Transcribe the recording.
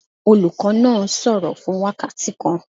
Olùkọ́ náà sọ̀rọ̀ fún wákàtí kan.